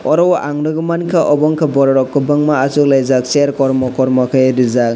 aro ang nugui manka obo anke borok rok ma schuk laijak chair kormo kormo ke reejak.